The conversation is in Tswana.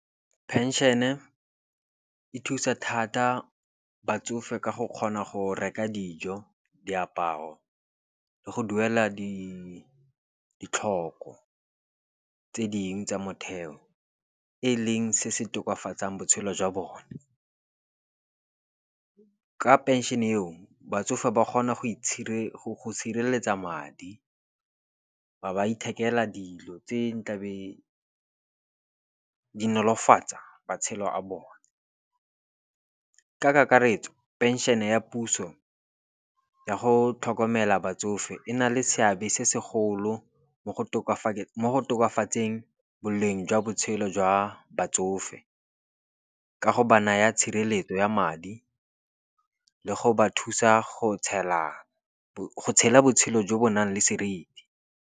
Penšene e thusa thata batsofe ka go kgona go reka dijo, diaparo le go duela ditlhoko tse ding tsa motheo, e leng se se tokafatsang botshelo jwa bone. Ka penšene eo batsofe ba kgona go sireletsa madi, ba ba ithekela dilo tse ne tlabeng di nolofatsa matshelo a bone. Ka kakaretso penšene ya puso ya go tlhokomela batsofe e na le seabe se segolo mo tokafatseng boleng jwa botshelo jwa batsofe, ka go ba naya tshireletso ya madi le go ba thusa go tshela botshelo jo bo nang le seriti.